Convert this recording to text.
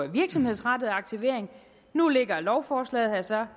virksomhedsrettet aktivering nu ligger lovforslaget her så